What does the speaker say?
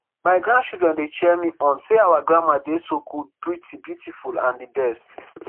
my grandchildren dey cheer me on say our grandma dey so cool pretty beautiful and di best